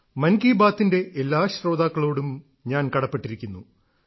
മൻ കി ബാത്തിന്റെ എല്ലാ ശ്രോതാക്കളോടും ഞാൻ കടപ്പെട്ടിരിക്കുന്നു